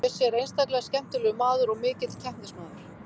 Bjössi er einstaklega skemmtilegur maður og mikill keppnismaður.